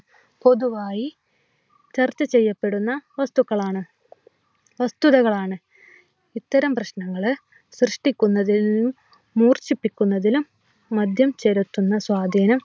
പൊതുവായി ചർച്ച ചെയ്യപ്പെടുന്ന വസ്തുക്കളാണ്. വസ്തുതകളാണ് ഇത്തരം പ്രശ്നങ്ങൾ സൃഷ്ടിക്കുന്നതിൽ നിന്നും മൂർചിപ്പിക്കുന്നതിലും മദ്യം ചെലുത്തുന്ന സ്വാധീനം